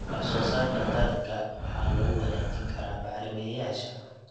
Wax-soo-saarka dalagga waxa lagu wanaajin karaa bacrimiyeyaasha.